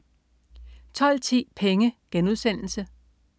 12.10 Penge*